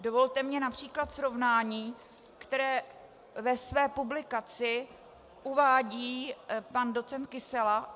Dovolte mi například srovnání, které ve své publikaci uvádí pan doc. Kysela.